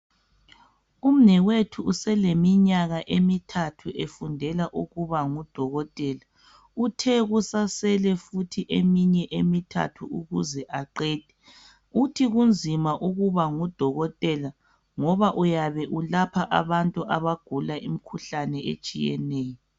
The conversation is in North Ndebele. Umnewethu useleminyaka emithathu efundela ukuba ngudokotela. Uthe kusasele futhi eminye emithathu ukuze aqede. Uthe kunzima ukuba ngudokotela ngoba uyabe ulapha abantu abagula imikhuhlane etshiyeneyo.